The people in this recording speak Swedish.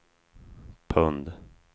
pund